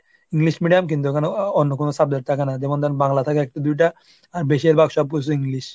english medium কিন্তু ওখানে অ~ অন্য কোন subject থাকে না। যেমন ধরো বাংলা থাকে একটা দুইটা আর বেশিরভাগ সবকিছু english।